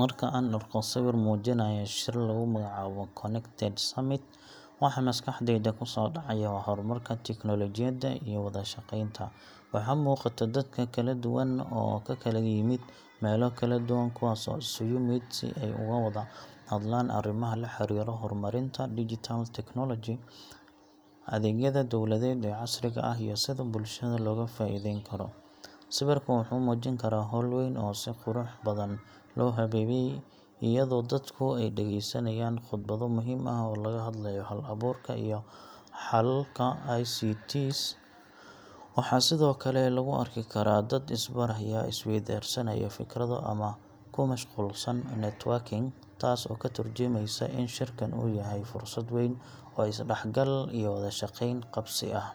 Marka aan arko sawir muujinaya shir lagu magacaabo Connected Summit, waxa maskaxdayda kusoo dhacaya waa horumarka tiknoolajiyadda iyo wada-shaqeynta. Waxaa muuqata dad kala duwan oo ka kala yimid meelo kala duwan, kuwaas oo isugu yimid si ay uga wada hadlaan arrimaha la xiriira horumarinta digital technology, adeegyada dawladeed ee casriga ah, iyo sida bulshada looga faa’iideyn karo. Sawirka wuxuu muujin karaa hool weyn oo si qurux badan loo habeeyey, iyadoo dadku ay dhageysanayaan khudbado muhiim ah oo looga hadlayo hal-abuurka iyo xalalka ICT. Waxaa sidoo kale lagu arki karaa dad is-baraya, is-weydaarsanaya fikrado, ama ku mashquulsan networking, taasoo ka tarjumaysa in shirkan uu yahay fursad weyn oo is-dhexgal iyo wax wada-qabsi ah.